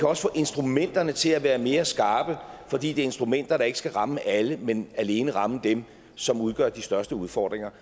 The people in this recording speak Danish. også få instrumenterne til at være mere skarpe fordi det er instrumenter der ikke skal ramme alle men alene ramme dem som udgør de største udfordringer